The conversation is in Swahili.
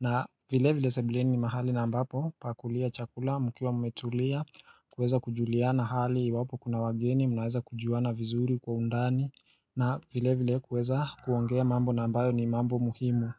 na vile vile sebuleni ni mahali na ambapo pa kulia chakula mkiwa mmetulia kuweza kujuliana hali iwapo kuna wageni mnaweza kujuana vizuri kwa undani. Na vile vile kuweza kuongea mambo na ambayo ni mambo muhimu.